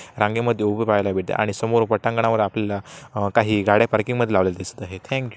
रांगेमध्ये उभे पहायला भेटते आणि समोर पटांगणावर आपल्याला काही गाड्या पार्किंग मध्ये लावलेल्या दिसत आहेत थँक --